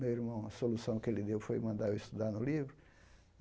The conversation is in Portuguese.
meu irmão, a solução que ele deu foi mandar eu estudar no livro.